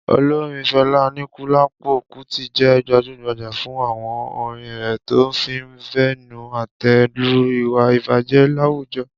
Olorin Fẹlá Aníkúlápò Kútì jẹ́ gbajúgbajà fún àwọn orin rẹ̀ tó fi ń bẹnu àtẹ́ lu ìwà ìbàjẹ́ láwùjọ.